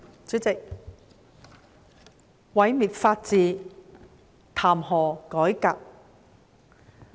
主席，毀滅法治，談何改革？